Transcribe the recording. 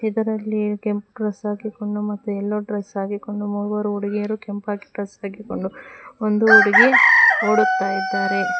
ಇದರಲ್ಲಿಯೇ ಕೆಂಪು ಡ್ರೆಸ್ ಹಾಕಿಕೊಂಡು ಮತ್ತೆ ಎಲ್ಲೋ ಡ್ರೆಸ್ ಹಾಕಿಕೊಂಡು ಮೂವರು ಹುಡುಗಿಯರು ಒಂದು ಹುಡುಗಿ ಓಡುತ್ತಾ ಇದ್ದಾರೆ.